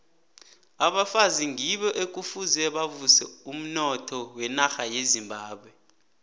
abafazi ngibo ekufuze bavuse umnotho wenarha yezimbabwe